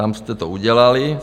Tam jste to udělali.